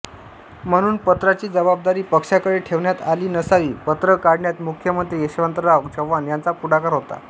म्हणून पत्राची जबाबदारी पक्षाकडे ठेवण्यात आली नसावी पत्र काढण्यात मुख्यमंत्री यशवंतराव चव्हाण यांचा पुढाकार होता